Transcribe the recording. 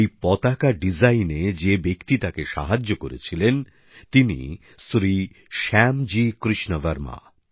এই পতাকা ডিজাইনে যে ব্যক্তি তাকে সাহায্য করেছিলেন তিনি শ্রী শ্যামজি কৃষ্ণ বর্মা